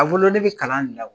A bolo ne bɛ kalan de la.